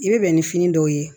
I bɛ bɛn ni fini dɔw ye